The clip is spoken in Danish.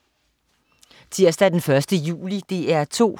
Tirsdag den 1. juli - DR 2: